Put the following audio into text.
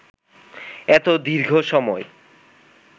এত দীর্ঘ সময়